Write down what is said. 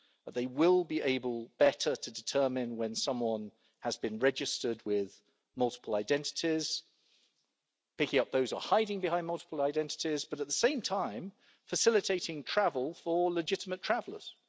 They will be better able to determine when someone has been registered with multiple identities, picking up those who are hiding behind multiple identities, but at the same time, facilitating travel for legitimate travellers.